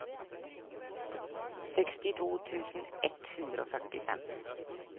sekstito tusen ett hundre og førtifem